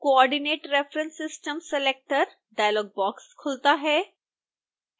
coordinate reference system selector dialog box खुलता है